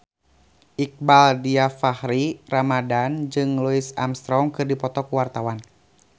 Iqbaal Dhiafakhri Ramadhan jeung Louis Armstrong keur dipoto ku wartawan